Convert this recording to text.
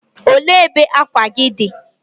O le ebe akwa gi di?